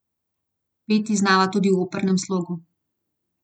Peti znava tudi v opernem slogu.